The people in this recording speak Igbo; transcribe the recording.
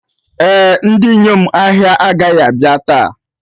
Ee, Ndị inyom ahịa agaghị abịa taa